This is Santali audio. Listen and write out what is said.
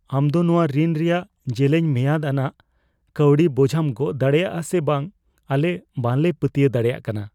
ᱟᱢ ᱫᱚ ᱱᱚᱶᱟ ᱨᱤᱱ ᱨᱮᱭᱟᱜ ᱡᱮᱞᱮᱧ ᱢᱮᱭᱟᱫ ᱟᱱᱟᱜ ᱠᱟᱹᱣᱰᱤ ᱵᱚᱡᱷᱟᱢ ᱜᱚᱜ ᱫᱟᱲᱮᱭᱟᱜᱼᱟ ᱥᱮ ᱵᱟᱝ ᱟᱞᱮ ᱵᱟᱞᱮ ᱯᱟᱹᱛᱭᱟᱹᱣ ᱫᱟᱲᱮᱭᱟᱜ ᱠᱟᱱᱟ ᱾